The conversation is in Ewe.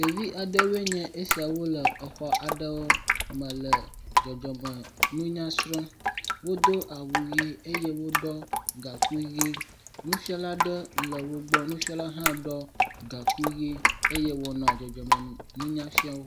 Ɖevi aɖewoe nye esiawo le exɔ aɖewo me le dzɔdzɔ nunya srɔm. Wodo awu ʋi eye wo ɖɔ gakui ʋi. Nufiala ɖe le wo gbɔ ye hã ɖɔ gakui ʋi.